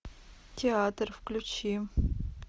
театр включи